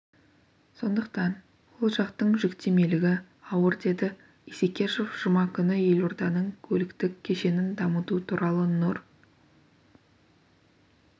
сондықтан ол жақтың жүктемелігі ауыр деді исекешев жұма күні елорданың көліктік кешенін дамыту туралы нұр